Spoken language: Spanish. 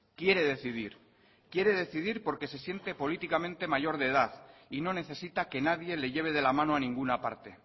quiere decidir quiere decidir porque se siente políticamente mayor de edad y no necesita que nadie le lleve de la mano a ninguna parte